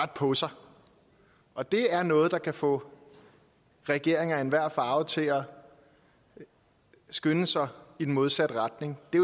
på sig og det er noget der kan få regeringer af enhver farve til at skynde sig i den modsatte retning det